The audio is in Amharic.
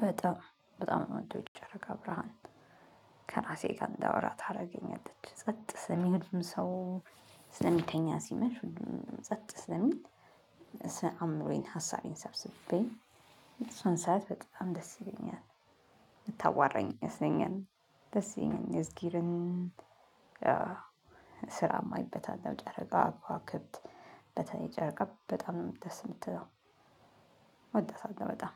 በጣም በጣም ነው የምወደው የጨረቃ ብርሃን ከራሴ ጋር እንዳወራ ታረገኛለች ጸጥ ጸጥ ሲል ሁሉም ሰው ስለሚተኛ ሲመሽ ሁሉም ጸጥ ስለሚል። አምሮዬን ሀሳቤን ሰብስቤ እሷን ሰያት በጣም ደስ ይለኛል። የምታዋራኝ ይመስለኛል። እ ስራም አይበታለው ጨረቃ ከዋክብት በተለይ ጨርቃ በጣም ነው ደስ የምትለው። ወዳታለው በጣም